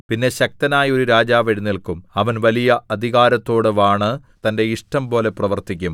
പിന്നെ ശക്തനായ ഒരു രാജാവ് എഴുന്നേല്ക്കും അവൻ വലിയ അധികാരത്തോടെ വാണ് തന്റെ ഇഷ്ടംപോലെ പ്രവർത്തിക്കും